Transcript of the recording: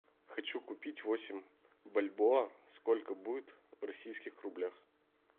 хочу купить восемь бальбоа сколько будет в российских рублях